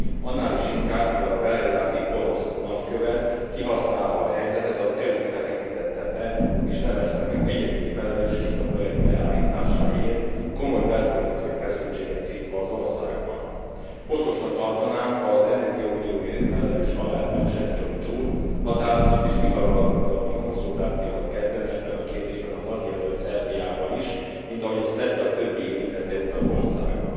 Annál is inkább, mivel a belgrádi orosz nagykövet kihasználva a helyzetet az EU t feketítette be, és nevezte meg egyedüli felelősként a projekt leállításáért, komoly belpolitikai feszültséget szítva az országban. Fontosnak tartanám, ha az energiaunióért felelős alelnök, Šefčovič úr, határozott és mihamarabbi konzultációkat kezdene ebben a kérdésben a tagjelölt Szerbiával is, mint ahogy azt tette a többi érintett EU tagországgal.